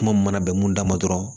Kuma mun mana bɛn mun da ma dɔrɔn